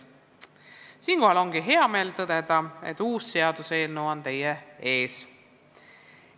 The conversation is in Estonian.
Siinkohal ongi hea meel tõdeda, et seaduseelnõu on teie ees.